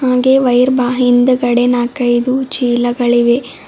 ಹಾಗೆ ವೈಯಿರ್ಬ ಹಿಂದಗಡೆ ನಾಲ್ಕೈದು ಚೀಲಗಳಿವೆ.